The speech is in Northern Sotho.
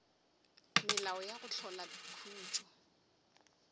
melao ya go hlola khutšo